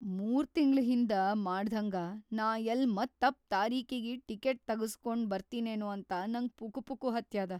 ಮೂರ್‌ ತಿಂಗ್ಳ್‌ ಹಿಂದ ಮಾಡ್ದ್ಹಂಗ ನಾ ಯಲ್ಲ್‌ ಮತ್ತ ತಪ್‌ ತಾರೀಕಿಗಿ ಟಿಕೀಟ್‌ ತಗಸ್ಗೊಂಡ್‌ ಬರ್ತೀನೇನೂ ಅಂತ ನಂಗ್ ಪುಕುಪುಕು ಹತ್ಯಾದ.